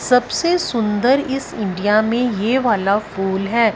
सबसे सुंदर इस इंडिया में यह वाला फूल है।